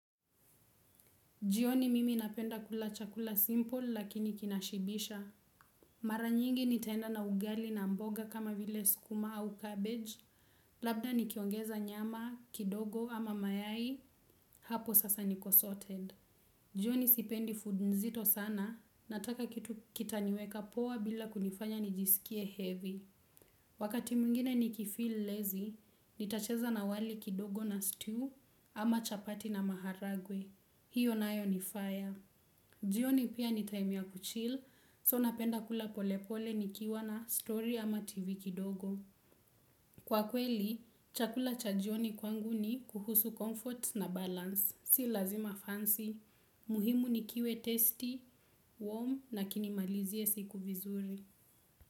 Jioni mimi napenda kula chakula simple lakini kinashibisha. Mara nyingi ntaenda na ugali na mboga kama vile skuma au cabbage labda nkiongeza nyama kidogo ama mayai hapo sasa niko sorted. Jioni sipendi food nzito sana nataka kitu kitaniweka poa bila kunifanya nijisikie heavy. Wakati mwingine nikifeel lazy nitacheza na wali kidogo na stew ama chapati na maharagwe. Hiyo naayo nifaya. Jioni pia ni time ya kuchil, so napenda kula polepole nikiwa na story ama tv kidogo. Kwa kweli, chakula cha jioni kwangu ni kuhusu comfort na balance, si lazima fancy, muhimu nikiwe tasty, warm na kinimalizie siku vizuri.